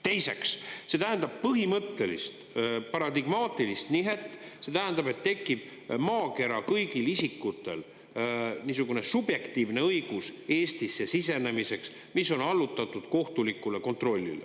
Teiseks, see tähendab põhimõttelist paradigmaatilist nihet: see tähendab, et tekib maakera kõigil isikutel niisugune subjektiivne õigus Eestisse sisenemiseks, mis on allutatud kohtulikule kontrollile.